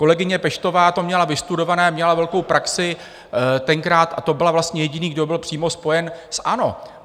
Kolegyně Peštová to měla vystudované, měla velkou praxi tenkrát a to byl vlastně jediný, kdo byl přímo spojen s ANO.